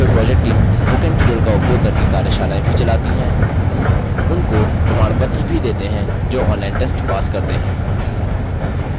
spoken tutorial project team spoken tutorial का उपयोग करके कार्यशालाएँ भी चलाती है उनको प्रमाणपत्र भी देते हैं जो online test pass करते हैं